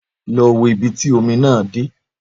Lọ wo ibi tí omi náà dé